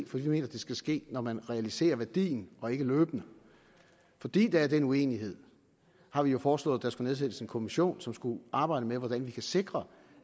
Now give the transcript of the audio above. for vi mener at det skal ske når man realiserer værdien og ikke løbende fordi der er den uenighed har vi jo foreslået at der skulle nedsættes en kommission som skulle arbejde med hvordan man kan sikre